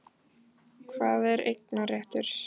Hvað er eignarréttur?